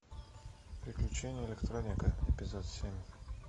приключения электроника эпизод семь